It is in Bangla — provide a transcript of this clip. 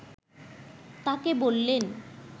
তাকে বললেন